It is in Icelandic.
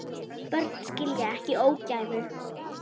Börn skilja ekki ógæfu.